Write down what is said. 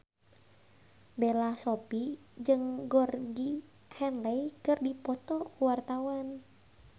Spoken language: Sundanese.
Bella Shofie jeung Georgie Henley keur dipoto ku wartawan